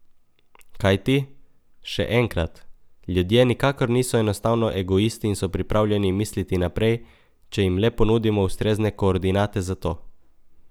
Kajti, še enkrat, ljudje nikakor niso enostavno egoisti in so pripravljeni misliti naprej, če jim le ponudimo ustrezne koordinate za to.